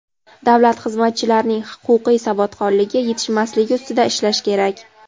davlat xizmatchilarining huquqiy savodxonligi yetishmasligi ustida ishlash kerak.